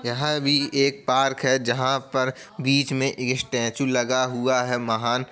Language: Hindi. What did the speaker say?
यहाँ भी एक पार्क है। जहां पर बीच में एक स्टैचू लगा हुआ है। महान --